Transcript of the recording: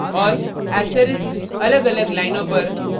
* और ******** asterisks अलगअलग लाइनों पर